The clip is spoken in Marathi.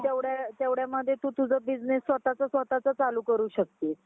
तेवढ तेवढ मध्ये तु तुझं business स्वतःचं स्वतःचं चालु करू शकतेस.